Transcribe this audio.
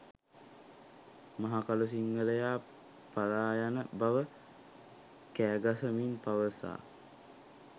මහකළු සිංහලයා පලායන බව කෑගසමින් පවසා